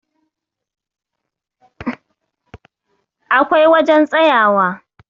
akwai wajen tsayawa